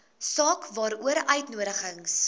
saak waaroor uitnodigings